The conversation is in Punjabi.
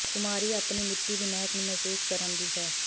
ਖ਼ੁਮਾਰੀ ਆਪਣੀ ਮਿੱਟੀ ਦੀ ਮਹਿਕ ਨੂੰ ਮਹਿਸੂਸ ਕਰਨ ਦੀ ਹੈ